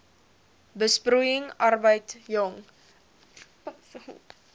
besproeiing arbeid jong